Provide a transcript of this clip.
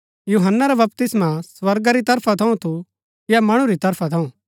यूहन्‍ना रा बपतिस्मा स्वर्गा री तरफ थऊँ थू या मणु री तरफा थू